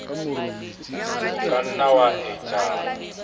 o ka nna wa etsa